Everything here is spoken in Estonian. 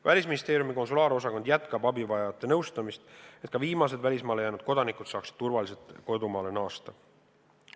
Välisministeeriumi konsulaarosakond jätkab abivajajate nõustamist, et ka viimased välismaale jäänud kodanikud saaksid turvaliselt kodumaale naasta.